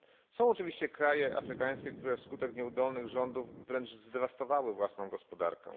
Są oczywiście kraje afrykańskie, które wskutek nieudolnych rządów wręcz zdewastowały własną gospodarkę.